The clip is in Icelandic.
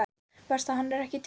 Verst að hann er ekki til.